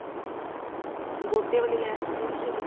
ਗੋਟੇ ਵਾਲੀ ਲੈਸ ਚੱਲੀ ਨਾ ਜਿਹੜੀ